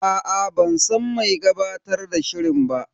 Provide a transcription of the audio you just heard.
Aa ban san mai gabatar da shirin ba.